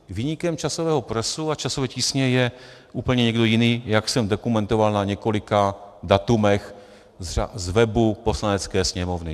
Viníkem časového presu a časové tísně je úplně někdo jiný, jak jsem dokumentoval na několika datech z webu Poslanecké sněmovny.